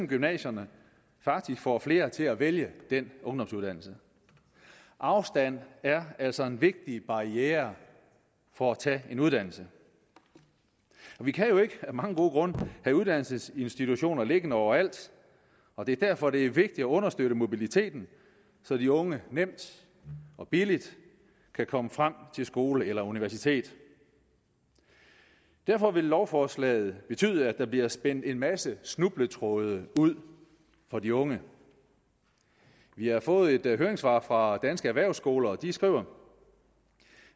gymnasierne faktisk får flere til at vælge den ungdomsuddannelse afstand er altså en vigtig barriere for at tage en uddannelse vi kan jo af mange gode grunde have uddannelsesinstitutioner liggende overalt og det er derfor det vigtigt at understøtte mobiliteten så de unge nemt og billigt kan komme frem til skole eller universitet derfor vil lovforslaget betyde at der bliver spændt en masse snubletråde ud for de unge vi har fået et høringssvar fra danske erhvervsskoler og de skriver